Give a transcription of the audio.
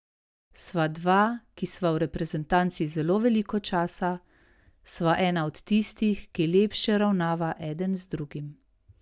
Sva dva, ki sva v reprezentanci zelo veliko časa, sva ena od tistih, ki lepše ravnava eden z drugim.